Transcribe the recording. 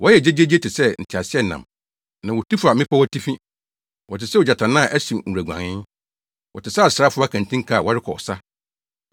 Wɔyɛ gyegyeegye te sɛ nteaseɛnam na wotu fa mmepɔw atifi, wɔte sɛ ogyatannaa a ɛhyew nwuraguanee wɔte sɛ asraafo akantinka a wɔrekɔ ɔsa.